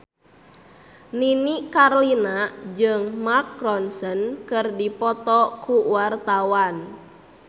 Nini Carlina jeung Mark Ronson keur dipoto ku wartawan